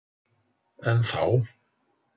En þá.